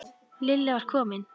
Lilla var komin.